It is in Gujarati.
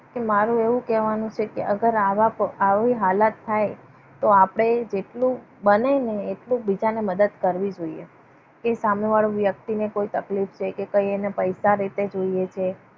કે મારું એવું કહેવાનું છે કે અગર આવા આવી હાલત થાય તો આપણે જેટલું બને ને એટલું બીજાને મદદ કરવી જોઈએ. કે સામેવાળો વ્યક્તિને કોઈ તકલીફ કે કઈ અને પૈસા રીતે જોઈએ છે.